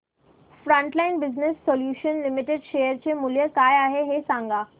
frontline business solutions limited share चे मूल्य काय आहे हे सांगा